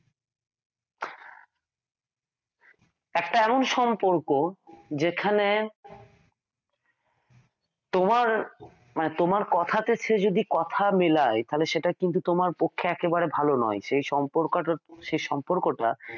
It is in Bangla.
একটা এমন সম্পর্ক যেখানে তোমার কথার ক্ষেত্রে যদি কথা মিলাই তাহলে সেটা কিন্তু তোমার পক্ষে একেবারে ভালো নয় সেই সম্পর্কটা